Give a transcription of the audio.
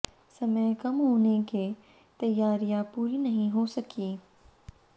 समय कम होने के तैयारिया पूरी नहीं हो सकी